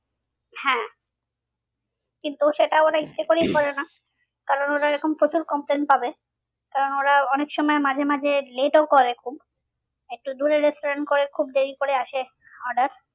হ্যাঁ কিন্তু সেটা ওরা ইচ্ছে করেই করে না। কারণ ওরা এরকম প্রচুর complaint পাবে কারণ ওরা অনেক সময় মাঝে মাঝে let ও করে খুব একটু দূরে restaurant করে খুব দেরি করে আসে order